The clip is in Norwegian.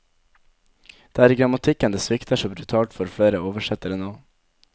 Det er i grammatikken det svikter så brutalt for flere oversettere nå.